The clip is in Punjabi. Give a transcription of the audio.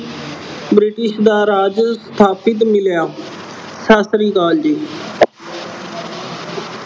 British ਦਾ ਰਾਜ ਸਥਾਪਤ ਮਿਲਿਆ। ਸਤਿ ਸ੍ਰੀ ਅਕਾਲ ਜੀ।